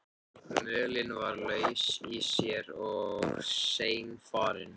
Mölin var laus í sér og seinfarin.